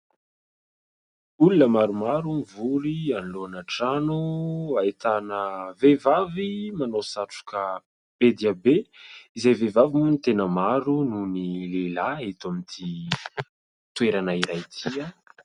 Olona maromaro mivory anoloana trano. Ahitana vehivavy manao satroka be dia be izay vehivay moa no tena maro noho ny lehilahy eto amin'ity toerana iray ity.